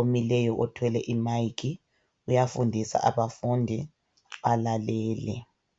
omileyo uthwele imayikhi. Uyafundisa abafundi balalele.